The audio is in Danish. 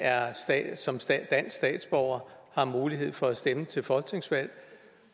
som dansk statsborger har mulighed for at stemme til et folketingsvalg